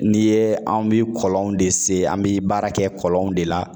N'i ye anw bi kɔlɔnw de se an bi baara kɛ kɔlɔnw de la.